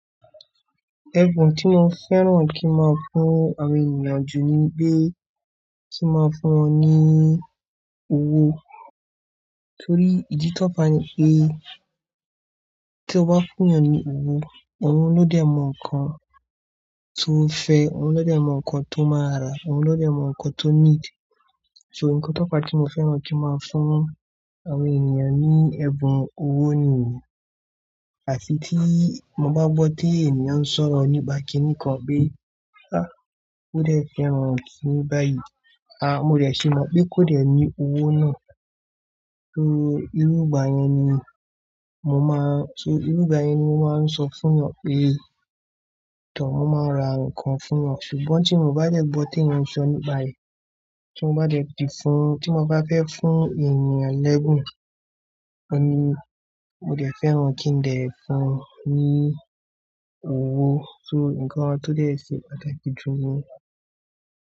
Ẹ̀bùn tí mo fẹ́ràn kí n máa fún àwọn ènìyàn jù nígbe kí n máa fún wọn ní owó. Nítorí ìdí tó pa ni pé tí o bá fún ènìyàn ní owó, ọ̀un ló dẹ̀ mọ nǹkan tó fẹ́, ọ̀un ló dẹ̀ mọ nǹkan tó máa rà, ọ̀un ló dẹ̀ mọ nǹkan tó nídi. So nǹkan tó pa tí mo fẹ́ràn kí n máa fún àwọn ènìyàn ní ẹ̀bùn owó nìyẹn. Àti tí mo bá gbọ́ pé ènìyàn sọ̀rọ̀ nípa kíni kan pé, "àá kúdẹ̀ fẹ́ràn kíni báyìí." À mo dẹ̀ ṣe mọ̀ pé kó dẹ̀ ní owó náà. Só irú gbà yẹn ni mo máa, só ìrú gbà yẹn ni mo máa n sọ fún wọn pé, tò mo máa ra nǹkan fún wọn. Ṣùgbọ́n tí mo bá dẹ̀ gbọ́ tí ènìyàn sọ nígbàyẹn, tí mo bá dẹ̀ di fún, tí mo bá fẹ́ fún ènìyàn lẹ́bùn, ọ́ ni mo dẹ̀ fẹ́ràn kí n dẹ̀ fún un ní owó. So nǹkan tó dẹ̀ ṣe pàtàkì jù ni.